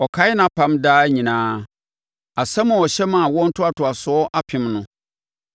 Ɔkae nʼapam daa nyinaa, asɛm a ɔhyɛ maa awoɔ ntoantoasoɔ apem no,